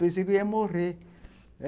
Pensei que ia morrer.